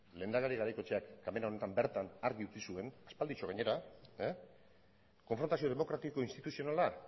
lehendakari garaikoetxeak ganbera honetan bertan argi utzi zuen aspalditxo gainera konfrontazio demokratiko instituzionala